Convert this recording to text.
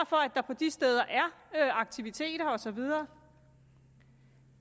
for at der på de steder er aktiviteter og så videre